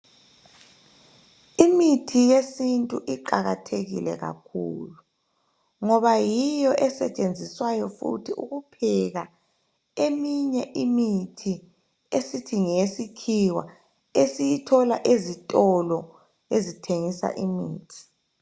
Imithi yesintu iqakathekile kakhulu ngoba yiyo esetshenziswayo futhi ukupheka. Eminye imithi esithi ngeyesikhiwa esiyithola ezitolo ezithengisa imithi.